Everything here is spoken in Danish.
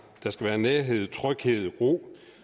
at der skal være nærhed tryghed ro